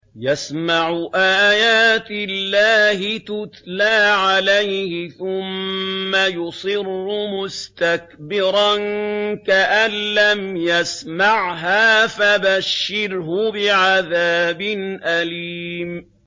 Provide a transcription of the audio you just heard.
يَسْمَعُ آيَاتِ اللَّهِ تُتْلَىٰ عَلَيْهِ ثُمَّ يُصِرُّ مُسْتَكْبِرًا كَأَن لَّمْ يَسْمَعْهَا ۖ فَبَشِّرْهُ بِعَذَابٍ أَلِيمٍ